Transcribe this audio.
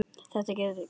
Þetta gat ekki verið.